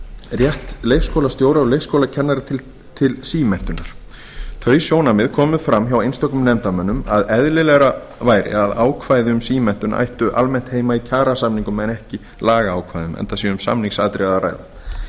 rétt leikskólastjóra og leikskólakennara til símenntunar þau sjónarmið komu fram hjá einstökum nefndarmönnum að eðlilegra væri að ákvæði um símenntun ættu almennt heima í kjarasamningum en ekki í lagaákvæðum enda sé um samningsatriði að ræða